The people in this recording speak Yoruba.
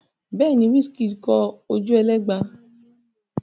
Bẹ́ẹ̀ ni, Wizkid kọ Ojuelegba.